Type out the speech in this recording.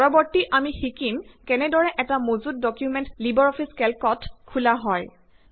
পৰৱৰ্তি আমি শিকিম কেনেদৰে এটা মজুত ডকুমেন্ট লিবাৰ অফিচ কেল্কত খোলা হয়